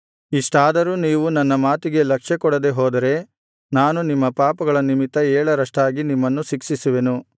ಇಷ್ಟಾದರೂ ನೀವು ನನ್ನ ಮಾತಿಗೆ ಲಕ್ಷ್ಯಕೊಡದೆ ಹೋದರೆ ನಾನು ನಿಮ್ಮ ಪಾಪಗಳ ನಿಮಿತ್ತ ಏಳರಷ್ಟಾಗಿ ನಿಮ್ಮನ್ನು ಶಿಕ್ಷಿಸುವೆನು